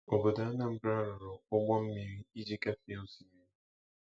Obodo Anambra rụrụ ụgbọ mmiri iji gafee osimiri.